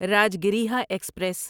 Rajgriha express